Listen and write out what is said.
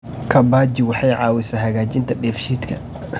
Kabbaji waxay caawisaa hagaajinta dheef-shiidka.